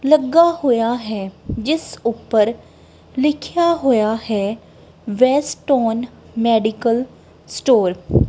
ਲੱਗਾ ਹੋਇਆ ਹੈ ਜਿਸ ਉੱਪਰ ਲਿਖਿਆ ਹੋਇਆ ਹੈ ਵੈਸਟਨ ਮੈਡੀਕਲ ਸਟੋਰ ।